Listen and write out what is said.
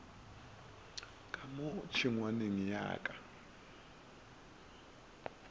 ka mo tšhengwaneng ya ka